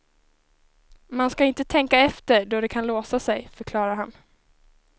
Man ska inte tänka efter då kan det låsa sig, förklarar han.